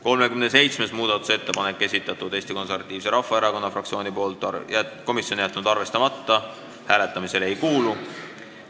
37. muudatusettepaneku on esitanud Eesti Konservatiivse Rahvaerakonna fraktsioon, komisjon on jätnud arvestamata ja hääletamisele ei kuulu.